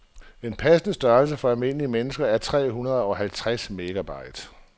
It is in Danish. En passende størrelse for almindelige mennesker er tre hundrede halvtreds megabyte.